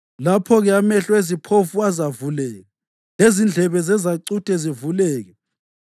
Lapho-ke amehlo eziphofu azavuleka, lezindlebe zezacuthe zivuleke.